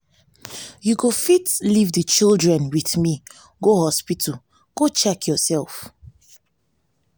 you go fit leave the children with me go hospital go check yourself